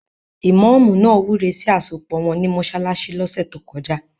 Ìmọ́ọ̀mù náà wúre sí àsopọ̀ wọn ní mọsálásí lọ́sẹ̀ tókọjá.